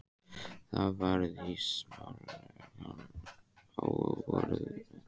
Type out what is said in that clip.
Það var í smalamennsku á vordegi.